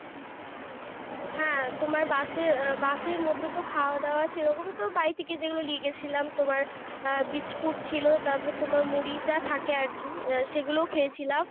হ্যাঁ তোমার bus এ bus এর মধ্যে তো খাওয়া-দাওয়া সেরকম তো বাড়িথাকে যেগুলো নিয়ে গিয়েছিলাম। তোমার আহ haircut ছিল তারপরে তোমার মুড়িটা থাকে আরকি, সেগুলো খেয়েছিলাম।